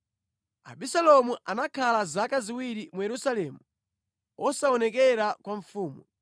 Abisalomu anakhala zaka ziwiri mu Yerusalemu osaonekera kwa mfumu.